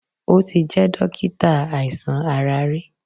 O ti jẹ́ dókítà àìsàn ara rí.